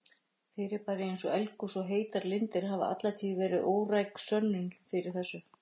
Fyrirbæri eins og eldgos og heitar lindir hafa alla tíð verið óræk sönnun fyrir þessu.